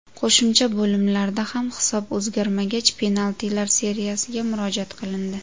Qo‘shimcha bo‘limlarda ham hisob o‘zgarmagach penaltilar seriyasiga murojaat qilindi.